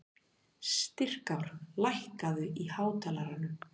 Styrkár, lækkaðu í hátalaranum.